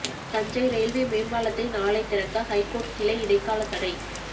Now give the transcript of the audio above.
Thanjai railway மேம்பாலத்தை நாளை திறக்க ஹைகோர்ட் கிளை இடைக்கால தடை